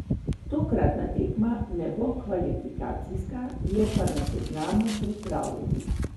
Tokratna tekma ne bo kvalifikacijska, je pa na seznamu pripravljalnih.